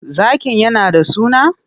Zakin yana da suna?